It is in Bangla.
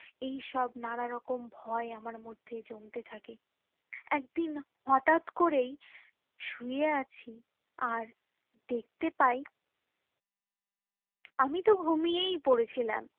এই সব নানারকম ভয়ে আমার মধ্যে জমতে থাকে একদিন হটাৎ করেই শুয়ে আছি আর দেখতে পাই আমি তো ঘুমিয়ে পড়েছিলাম